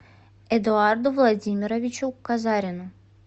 эдуарду владимировичу казарину